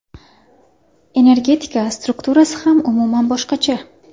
Energetika strukturasi ham umuman boshqacha.